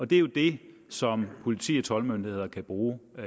det er jo det som politiet og toldmyndighederne kan bruge